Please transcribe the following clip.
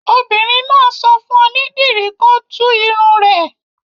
Obìnrin náà sọ fún onídìrí kó tú irun rẹ̀.